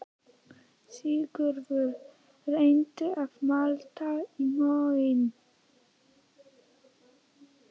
Sigurður reyndi að malda í móinn